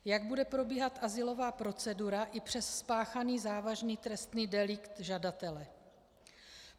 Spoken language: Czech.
Jak bude probíhat azylová procedura i přes spáchaný závažný trestný delikt žadatele?